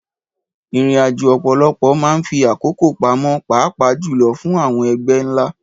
Ìrìnàjò ọ̀pọ̀lọpọ̀ máa ń fi àkókò pamọ́, pàápàá jùlọ fún àwọn ẹgbẹ́ ńlá.